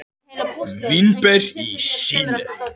Vínber í Síle.